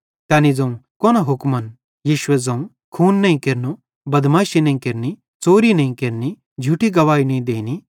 तैनी ज़ोवं कोन हुक्मन पुड़ यीशुए ज़ोवं खून नईं केरनो बदमाशी नईं केरनि च़ोरी नईं केरनि झूठी गवाही नईं देनी